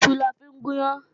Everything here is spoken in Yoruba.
Iṣu la fi ń gùn yán